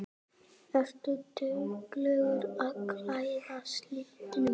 Ertu dugleg að klæðast litum?